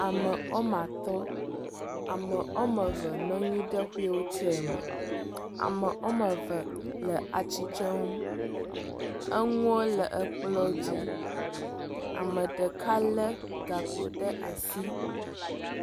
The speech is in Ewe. Ame ɔmatɔ ame ɔmeve nɔnyiɖe wheelchair me ame ɔmeve le atsitsreŋu eŋuo le ekplɔ dzi ameɖeka le gakpo ɖe asi